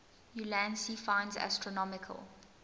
ulansey finds astronomical